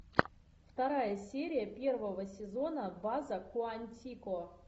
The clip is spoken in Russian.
вторая серия первого сезона база куантико